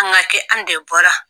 An ga kɛ an de bɔra